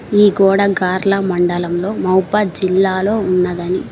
ఈ గోడ గార్ల మండలంలో మౌబాద్ జిల్లాలో ఉన్నదని.